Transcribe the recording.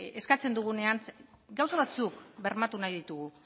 eskatzen dugunean gauza batzuk bermatu nahi ditugu